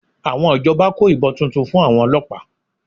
Àwọn ìjọba kó ìbọn tuntun fún àwọn ọlọ́pàá